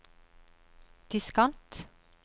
diskant